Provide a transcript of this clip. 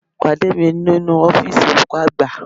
Pàdé mi nínú ọ́fíìsì olùkọ́ àgbà